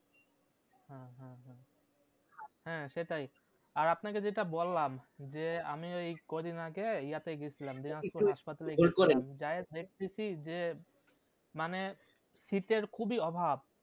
হ্যাঁ সেটাই আর আপনাকে যেটা বললাম যে আমি ওই কয় দিন আগে ইয়াতে গেছিলাম দিনাজপুর হাসপাতালে গিয়ে ছিলাম যাইয়ে দেখতেছি যে মানে শীত এর খুবই অভাব